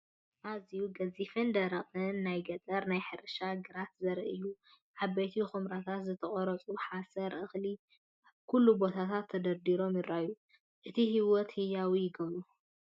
ኣዝዩ ገዚፍን ደረቕን ናይ ገጠር ናይ ሕርሻ ግራት ዘርኢ እዩ። ዓበይቲ ኵምራታት ዝተቖርጹ ሓሰር (እኽሊ) ኣብ ኩሉ ቦታታት ተደራሪቦም ይረኣዩ። እቲ ህይወትን ህያው ይገብሮ።